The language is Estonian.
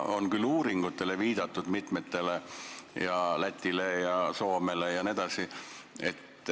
On küll viidatud mitmele uuringule, Lätile, Soomele jne.